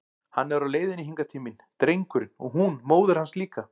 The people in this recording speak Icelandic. Hann er á leiðinni hingað til mín, drengurinn, og hún móðir hans líka!